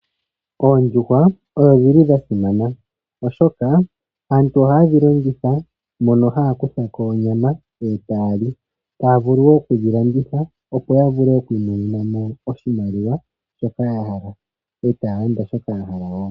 Oondjuhwa odho dhili dha simana oshoka aantu ohaye dhi longitha mono haya kutha ko onyama etaya li, taya vulu wo okudhi landitha opo ya vule okwimonena mo oshimaliwa shoka ya hala, etaya landa shoka ya hala woo.